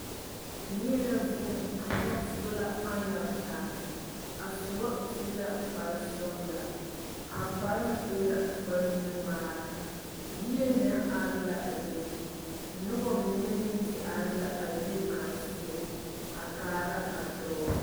Neɛ la vuun a nyɔg sola panal taa. A soba su la kparesɔgelaa, a kparoŋ e la kparenuŋmaara, yie meŋ are la a be. Noba mine meŋ te are la a yiri kaŋa seɛ, a kaara a dɔɔ.